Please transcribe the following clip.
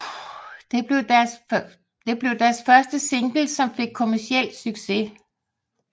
Det blev deres første single som fik kommerciel succes